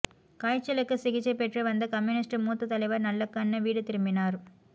காய்ச்சலுக்கு சிகிச்சை பெற்று வந்த கம்யூனிஸ்ட் மூத்த தலைவர் நல்லக்கண்ணு வீடு திரும்பினார்